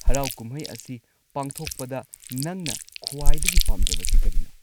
ꯍꯔꯥꯎ ꯀꯨꯝꯍꯩ ꯑꯁꯤ ꯄꯥꯡꯊꯣꯛꯄꯗ ꯅꯪꯅ ꯈ꯭ꯋꯥꯏꯗꯒꯤ ꯄꯥꯝꯖꯕꯁꯤ ꯀꯔꯤꯅꯣ?